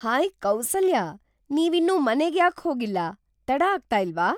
Hi Kausalya, ನೀವಿನ್ನೂ ಮನೆಗ್ ಯಾಕ್ ಹೋಗಿಲ್ಲ? ತಡ ಆಗ್ತಾ ಇಲ್ವಾ?